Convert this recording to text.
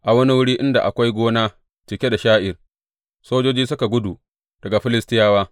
A wani wuri inda akwai gona cike da sha’ir, sojoji suka gudu daga Filistiyawa.